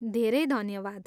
धेरै धन्यवाद।